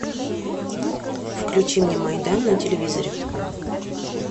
включи мне майдан на телевизоре